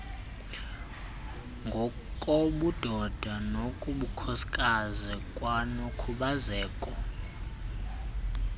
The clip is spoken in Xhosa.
ngokobudoda nobukhosikazi kwanokukhubazeka